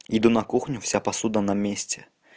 иду на кухню вся посуда на месте